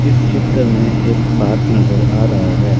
इस चित्र में एक पार्क नजर आ रहा है।